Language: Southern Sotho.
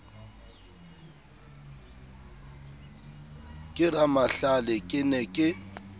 ke ramahlale ke ne ke